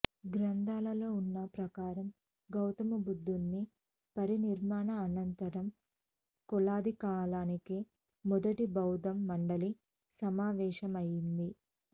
గ్రంథాలలో ఉన్న ప్రకారం గౌతమబుద్ధుని పరినిర్వాణానంతరం కొలది కాలానికే మొదటి బౌద్ధ మండలి సమావేశమయ్యింది